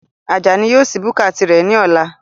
Ajani yóò sí búkà tirẹ̀ ní ọ̀la